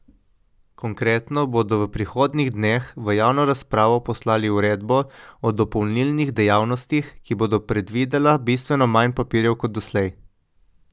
Konkretno bodo v prihodnjih dneh v javno razpravo poslali uredbo o dopolnilnih dejavnostih, ki bo predvidela bistveno manj papirjev kot doslej.